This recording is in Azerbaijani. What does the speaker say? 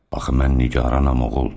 Axı mən nigaranam, oğul.